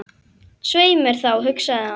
Svei mér þá, hugsaði hann.